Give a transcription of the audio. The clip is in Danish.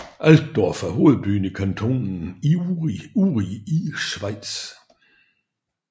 Altdorf er hovedbyen i kantonen Uri i Schweiz